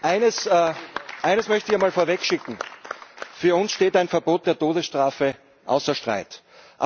Eines möchte ich mal vorwegschicken Für uns steht ein Verbot der Todesstrafe außer Frage.